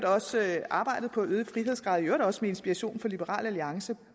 også arbejdet på at skabe øgede frihedsgrader i øvrigt også med inspiration fra liberal alliance